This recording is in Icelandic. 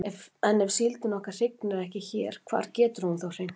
En ef síldin okkar hrygnir ekki hér hvar getur hún þá hrygnt?